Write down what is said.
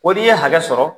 Ko n'i ye hakɛ sɔrɔ